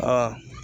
Aa